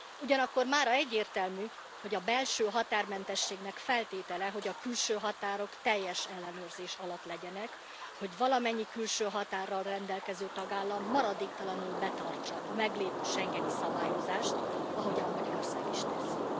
Ugyanakkor mára egyértelmű, hogy a belső határmentességnek feltétele, hogy a külső határok teljes ellenőrzés alatt legyenek, hogy valamennyi külső határral rendelkező tagállam maradéktalanul betartsa a meglévő schengeni szabályozást, ahogyan Magyarország is teszi.